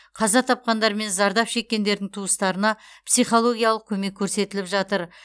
қаза тапқандар мен зардап шеккендердің туыстарына психологиялық көмек көрсетіліп жатыр